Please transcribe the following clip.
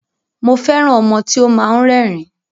Mo fẹ́ràn ọmọ tí ó máa ń rẹ́rìn-ín.